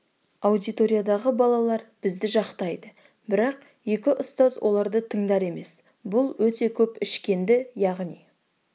аудиториядағы балалар бізді жақтайды бірақ екі ұстаз оларды тыңдар емес бұл өте көп ішкенді яғни